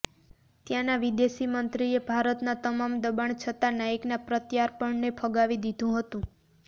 ત્યાંના વિદેશ મંત્રીએ ભારતના તમામ દબાણ છતા નાઈકના પ્રત્યાર્પણને ફગાવી દીધું હતું